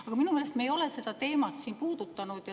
Aga minu meelest ei ole me seda teemat siin puudutanud.